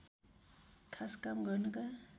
खास काम गर्नका